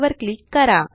वर क्लिक करा